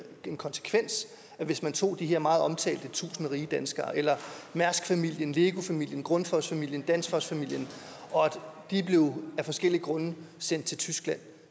en konsekvens hvis man tog de her meget omtalte tusind rige danskere eller mærskfamilien lego familien grundfosfamilien danfossfamilien og de af forskellige grunde blev sendt til tyskland